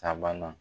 Sabanan